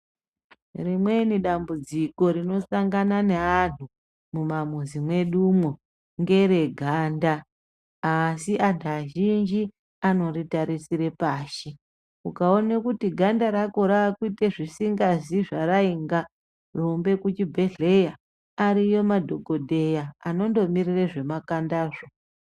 Rimweni dambudziko rinosangana neantu mumamuzi mwedumwo ngere ganda. Asi antu azhinji anoritarisire pashi ukaona kuti ganda rako rakuite zvisingazi zvarainga rumbe kuchibhedhleya ariyo, madhogodheya anondomirire zvemakandazvo.